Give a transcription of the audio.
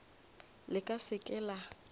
le ka se ke la